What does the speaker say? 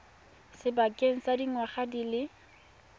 sebakeng sa dingwaga di le